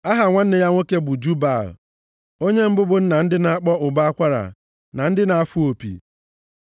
Aha nwanne ya nwoke bụ Jubal, onye mbụ bụ nna ndị na-akpọ ụbọ akwara, na ndị na-afụ opi.